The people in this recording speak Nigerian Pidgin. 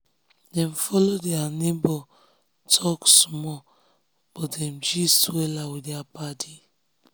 um dem um follow their neighbor talk small but dem gist wella with their paddy.